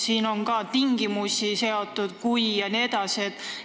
Siin on ka tingimusi seatud, et "kui" jne.